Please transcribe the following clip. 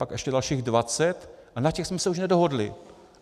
Pak ještě dalších dvacet a na těch jsme se už nedohodli.